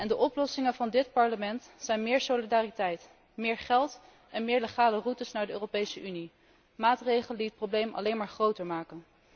De oplossingen van dit Parlement zijn meer solidariteit, meer geld en meer legale routes naar de Europese Unie, maatregelen die het probleem alleen maar groter maken.